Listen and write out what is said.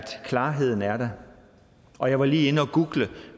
klarheden er der og jeg var lige inde at google